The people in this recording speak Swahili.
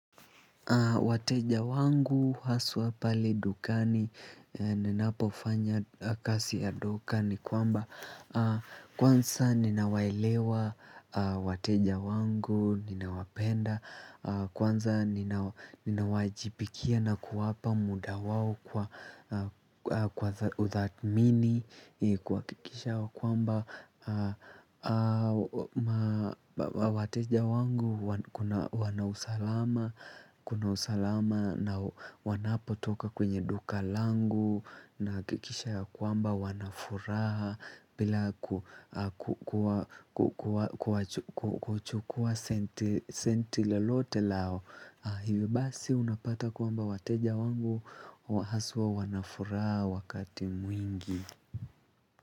Wateja wangu, haswa pale dukani, ninapofanya kasi ya duka ni kwamba kwanza ninawaelewa wateja wangu, ninawapenda kwanza ninawaajibikia na kuwapa muda wao kwa uthatmini kuhakikisha kwamba wateja wangu wanausalama kuna usalama na wanapotoka kwenye duka langu na hakikisha ya kwamba wanafuraha bila kuchukua senti lolote lao. Hivyo basi unapata kwamba wateja wangu haswa wanafuraha wakati mwingi.